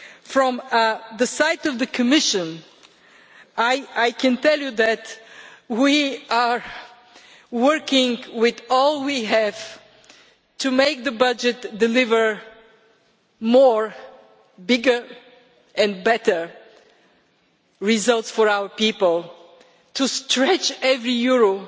From the Commission side, I can tell you that we are working with all we have to make the budget deliver more, bigger and better results for our people, to stretch every